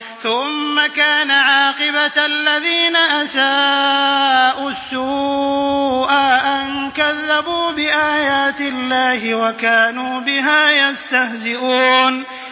ثُمَّ كَانَ عَاقِبَةَ الَّذِينَ أَسَاءُوا السُّوأَىٰ أَن كَذَّبُوا بِآيَاتِ اللَّهِ وَكَانُوا بِهَا يَسْتَهْزِئُونَ